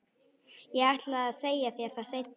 Ég ætlaði að segja þér það seinna.